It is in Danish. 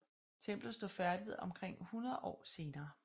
Templet stod færdigt omkring 100 år senere